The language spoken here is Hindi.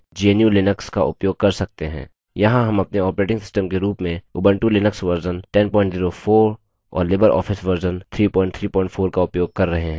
यहाँ हम अपने ऑपरेटिंग सिस्टम के रूप में उबंटु लिनक्स वर्जन 1004 और लिबर ऑफिस वर्जन 334 का उपयोग कर रहे हैं